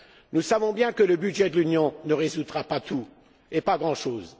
Nous savons bien que le budget de l'Union ne résoudra pas tout, voire même pas grand chose.